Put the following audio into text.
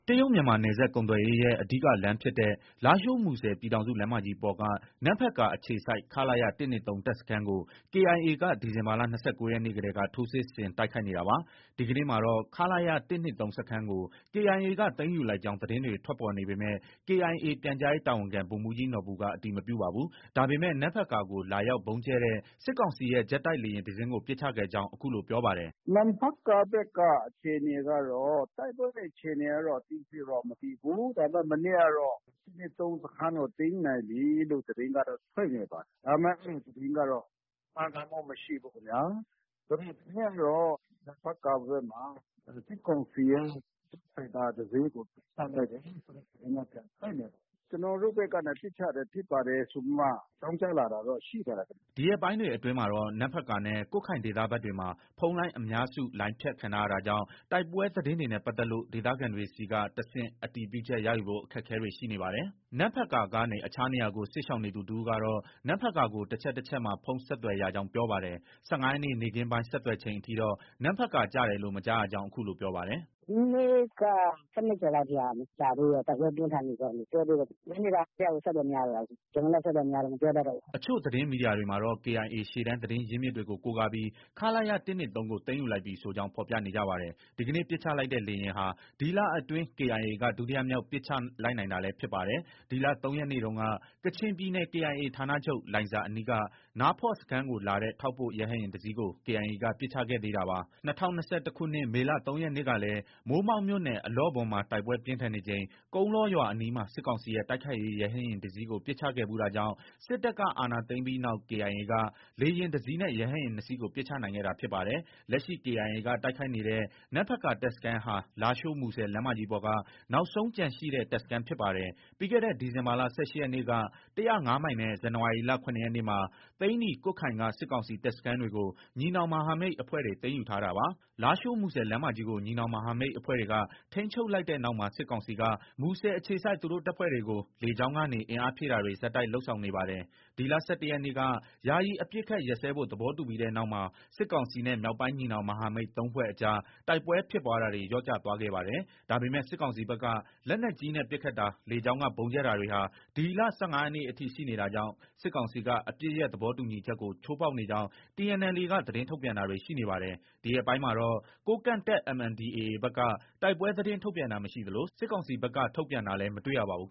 တရုတ်-မြန်မာနယ်စပ်ကုန်သွယ်ရေးရဲ့ အဓိက လမ်းဖြစ်တဲ့ လားရှိုး- မူဆယ်ပြည်ထောင်စုလမ်းမကြီးပေါ်က နမ့်ဖတ်ကာအခြေစိုက် ခလရ ၁၂၃ တပ်စခန်းကို KIA က ဒီဇင်ဘာလ ၂၉ရက်နေ့ကတည်းက ထိုးစစ်ဆင် တိုက်ခိုက်နေတာပါ။ ဒီကနေ့မှာတော့ ခလရ ၁၂၃ စခန်းကို KIA က သိမ်းယူလိုက်ကြောင်း သတင်းတွေ ထွက်ပေါ်နေပေမဲ့ KIA ပြန်ကြားရေးတာဝန်ခံ ဗိုလ်မှုးကြီးနော်ဘူက အတည်မပြုပါဘူး။ ဒါပေမဲ့ နမ့်ဖတ်ကာကို လာရောက် ဗုံးကြဲတဲ့ စစ်ကောင်စီရဲ့ ဂျက်တိုက်လေယာဉ်တစင်းကို ပစ်ချခဲ့ကြောင်း အခုလို ပြောပါတယ်။ “နမ့်ဖတ်ကာဘက်က အခြေအနေကတော့ တိုက်ပွဲတွေ အခြေအနေကတော့ အသေးစိတ် မသိသေးဘူး။ ဒါပေမဲ့ မနေ့ကတော့ ၁၂၃ စခန်းကို သိမ်းနိုင်ပြီဆိုပြီးတော့ သတင်းကတော့ ထွက်နေပါတယ်။ ဒါပေမဲ့ အဲဒီသတင်းကတော့ မှန်ကန်မှုမရှိဘူးခင်ဗျာ။ ဒီကနေ့ကတော့ နမ့်ဖတ်ကာဘက်မှာ စစ်ကောင်စီရဲ့ ဂျက်ဖိုက်တာ တစင်းကို ပစ်ချလိုက်တယ်ဆိုတဲ့ သတင်းက ပြန်ထွက်နေပါတယ်။ ကျနော်တို့ဘက်က ပစ်ချလိုက်တာဖြစ်ပါတယ်ဆိုပြီးမှ အကြောင်းကြားလာတာတော့ရှိပါတယ်။” ဒီရက်ပိုင်းတွေအတွင်းမှာတော့ နမ့်ဖတ်ကာနဲ့ ကွတ်ခိုင်ဒေသဘက်တွေမှာ ဖုန်းလိုင်းအများစု လိုင်းဖြတ်ခံထားရတာကြောင့် တိုက်ပွဲသတင်းတွေနဲ့ပတ်သက်လို့ ဒေသခံတွေဆီက တဆင့် အတည်ပြုချက် ရယူဖို့ အခက်အခဲတွေ ရှိနေပါတယ်။ နမ့်ဖတ်ကာကနေ အခြားနေရာကို စစ်ရှောင်နေသူတဦးကတော့ နမ့်ဖတ်ကာကို တချက် တချက်မှာ ဖုန်း ဆက်သွယ်ရကြောင်း ပြောပါတယ်။ ၁၅ရက်နေ့ နေ့ခင်းပိုင်း ဆက်သွယ်ချိန်အထိတော့ နမ့်ဖတ်ကာ ကျတယ်လို့ မကြားရကြောင်း အခုလို ပြောပါတယ်။ “ မနေ့က ၁၂ကျော်လောက်ထိ မကျသေးဘူး။ တိုက်ပွဲပြင်းထန်နေဆဲလို့ ပြောသေးတယ်။ ညနေပိုင်းတည်းကကို အဆက်အသွယ်မရတော့တာ ။ ကျနော်လည်း အဆက်အသွယ်မရတော့ မပြောတတ်တော့ဘူး။” အချို့ သတင်းမီဒီယာတွေမှာတော့ KIA ရှေ့တန်းသတင်းရင်းမြစ်တွေကို ကိုးကားပြီး ခလရ ၁၂၃ ကို သိမ်းယူလိုက်ပြီဆိုကြောင်း ဖော်ပြနေကြပါတယ်။ ဒီကနေ့ ပစ်ချလိုက်တဲ့ လေယာဉ်ဟာ ဒီလအတွင်း KIA က ဒုတိယမြောက်ပစ်ချနိုင်လိုက်တာလည်း ဖြစ်ပါတယ်။ ဒီလ ၃ ရက်နေ့တုန်းက ကချင်ပြည်နယ် KIA ဌာနချုပ် လိုင်ဇာအနီးက နားဖော့ စခန်းကိုလာတဲ့ ထောက်ပို့ရဟတ်ယာဉ်တစီးကို KIA က ပစ်ချခဲ့သေးတာပါ။ ၂၀၂၁ခုနှစ်က မေလ ၃ရက်နေ့ကလည်း မိုးမောက်မြို့နယ် အလော့ဘွမ်မှာ တိုက်ပွဲပြင်းထန်နေချိန် ကုန်းလောရွာအနီးမှာ စစ်ကောင်စီရဲ့တိုက်ခိုက်ရေး ရဟတ်ယာဉ်တစီးကို ပစ်ချခဲ့ဖူးတာကြောင့် စစ်တပ်က အာဏာသိမ်းပြီးနောက် KIA က လေယာဉ်တစီးနဲ့ ရဟတ်ယာဉ် ၂စီး ပစ်ချနိုင်ခဲ့တာဖြစ်ပါတယ်။ လက်ရှိ KIA က တိုက်ခိုက်နေတဲ့ နမ့်ဖတ်ကာတပ်စခန်းဟာ လားရှိုး- မူဆယ် လမ်းမကြီးပေါ်က နောက်ဆုံးကျန်ရှိတဲ့ တပ်စခန်းဖြစ်ပါတယ်။ ပြီးခဲ့တဲ့ ဒီဇင်ဘာလ ၁၈ရက်နေ့က ၁၀၅မိုင်နဲ့ ဇန်နဝါရီလ ၇ရက်နေ့မှာ သိန္နီ၊ ကွတ်ခိုင်က စစ်ကောင်စီတပ်စခန်းတွေကို ညီနောင်မဟာမိတ်အဖွဲ့တွေ သိမ်းယူထားတာပါ။ လားရှိုး- မူဆယ်လမ်းမကြီးကို ညီနောင်မဟာမိတ်အဖွဲ့တွေက ထိန်းချုပ်လိုက်တဲ့နောက်မှာ စစ်ကောင်စီက မူဆယ်အခြေစိုက် သူတို့ တပ်ဖွဲ့တွေကို လေကြောင်းကနေ အင်အားဖြည့်တင်းတာတွေ ဆက်တိုက်လုပ် ဆောင်နေပါတယ်။ ဒီလ ၁၁ရက်နေ့က ယာယီအပစ်အခတ် ရပ်စဲဖို့ သဘောတူပြီးတဲ့နောက်မှာ စစ်ကောင်စီနဲ့ မြောက်ပိုင်းညီနောင် မဟာမိတ် ၃ဖွဲ့အကြား တိုက်ပွဲဖြစ်ပွားတာတွေ လျော့ကျသွားခဲ့ပါတယ်။ ဒါပေမဲ့ စစ်ကောင်စီဘက်က လက်နက်ကြီးနဲ့ ပစ်ခတ်တာ၊ လေကြောင်းက ဗုံးကြဲတာတွေဟာ ဒီလ ၁၅ရက်နေ့အထိ ရှိနေတာကြောင့် စစ်ကောင်စီက အပစ်ရပ်သဘောတူညီချက်ကို ချိုးဖောက်နေကြောင်း TNLA က သတင်းထုတ်ပြန်တာတွေ ရှိနေပါတယ်။ ဒီရက်ပိုင်းမှာတော့ ကိုးကန့်တပ် MNDAA ဘက်က တိုက်ပွဲ သတင်း ထုတ်ပြန်တာ မရှိသလို စစ်ကောင်စီဘက်ကလည်း ထုတ်ပြန်တာလည်း မတွေ့ရပါဘူး